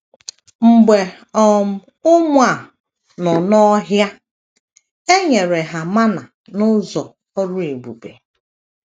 Mgbe um ụmụ a nọ n’ọhia, e nyere ha mana n’ụzọ ọrụ ebube.